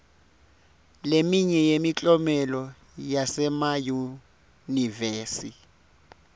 leminye yemiklomelo yasemayunivesi